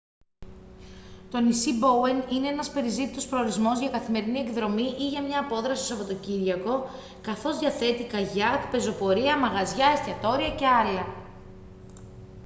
το νησί μπόουεν είναι ένας περιζήτητος προορισμός για καθημερινή εκδρομή ή για μια απόδραση το σαββατοκύριακο καθώς διαθέτει καγιάκ πεζοπορία μαγαζιά εστιατόρια και άλλα